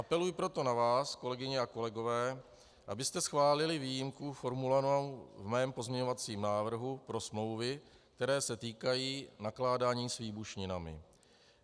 Apeluji proto na vás, kolegyně a kolegové, abyste schválili výjimku formulovanou v mém pozměňovacím návrhu pro smlouvy, které se týkají nakládání s výbušninami.